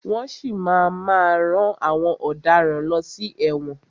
Wọ́n si máa má rán àwọn ọ̀daràn lọ sí ẹ̀wọ̀n.